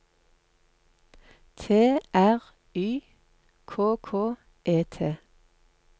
T R Y K K E T